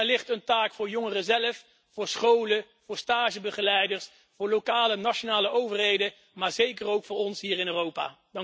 Daar ligt een taak voor jongeren zelf, voor scholen, voor stagebegeleiders, voor lokale en nationale overheden, maar zeker ook voor ons hier in Europa.